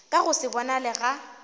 ka go se bonale ga